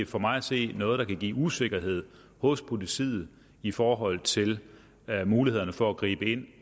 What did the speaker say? for mig at se er noget der kan give usikkerhed hos politiet i forhold til mulighederne for at gribe ind